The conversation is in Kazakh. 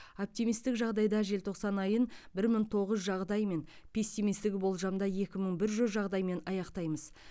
оптимистік жағдайда желтоқсан айын бір мың тоғыз жүз жағдаймен пессимистік болжамда екі мың бір жүз жағдаймен аяқтаймыз